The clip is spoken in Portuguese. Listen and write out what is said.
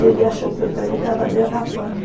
Ele achou que o trem estava derrapando.